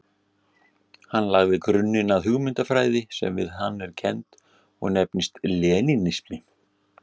Hann lagði grunninn að hugmyndafræði sem við hann er kennd og nefnist lenínismi.